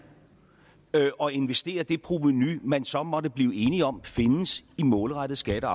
og investerer det provenu man så måtte blive enige om findes i målrettede skatte og